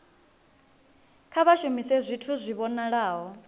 kha vha shumise zwithu zwi vhonalaho